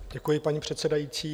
Děkuji, paní předsedající.